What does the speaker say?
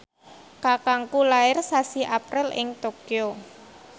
kakangku lair sasi April ing Tokyo